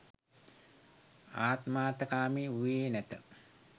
ආත්මාර්ථකාමී වූයේ නැත.